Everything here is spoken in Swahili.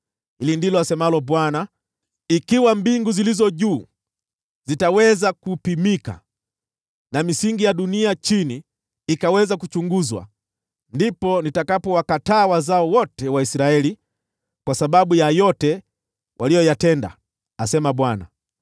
Hili ndilo asemalo Bwana : “Ikiwa mbingu zilizo juu zitaweza kupimika na misingi ya dunia chini ikaweza kuchunguzwa, ndipo nitakapowakataa wazao wote wa Israeli kwa sababu ya yote waliyoyatenda,” asema Bwana .